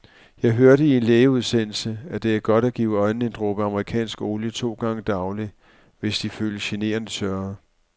Jeg hørte i en lægeudsendelse, at det er godt at give øjnene en dråbe amerikansk olie to gange daglig, hvis de føles generende tørre.